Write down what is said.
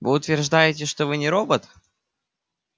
вы утверждаете что вы не робот